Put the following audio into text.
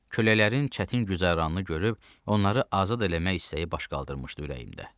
Köləklərin çətin güzəranını görüb onları azad eləmək istəyi baş qaldırmışdı ürəyimdə.